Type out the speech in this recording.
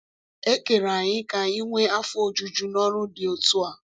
E kere anyị ka anyị nwee afọ ojuju n’ọrụ dị otu a.